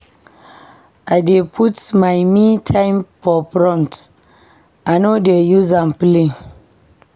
I dey put my me-time for front, I no dey use am play.